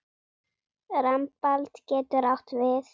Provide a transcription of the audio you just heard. Rambald getur átt við